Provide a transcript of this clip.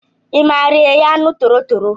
I maara eghe aṅụ toro tọrọ?